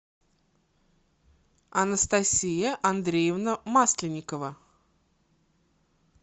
анастасия андреевна масленникова